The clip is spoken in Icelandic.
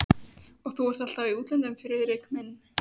Og þú ert alltaf í útlöndum, Friðrik minn